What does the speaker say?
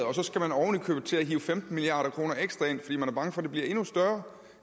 og så skal man oven i købet til at hive femten milliard kroner ekstra ind fordi man er bange for at det bliver endnu større